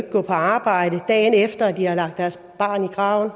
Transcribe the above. gå på arbejde dagen efter at de har lagt deres barn i graven